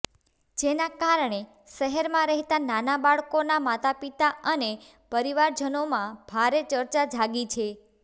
જેના કારણે શહેરમાં રહેતા નાના બાળકોના માતાપિતા અને પરિવારજનોમાં ભારે ચર્ચા જાગી છે